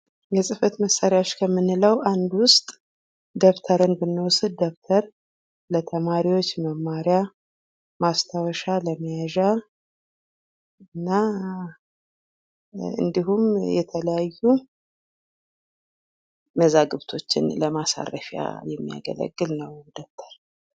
የጽህፈት መሳሪያዎች የምንለው አንዱ ውስጥ ደብተርን ብንወስድ፤ ደብተር ለተማሪዎች መማርያ ማስታወሻ ለመያዣ እንዲሁም የተለያዩ መዛግብቶችን ለማሳረፍ የሚያገለግል ነው ደብተር።